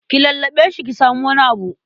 Ki lallaɓe shi ki samu wani abu.